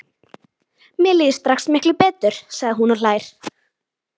Að sá sem eftir lifði yrði sár.